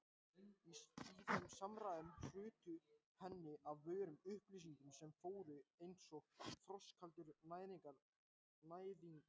Í þeim samræðum hrutu henni af vörum upplýsingar sem fóru einsog frostkaldur næðingur um sálartetrið.